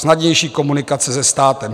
Snadnější komunikace se státem.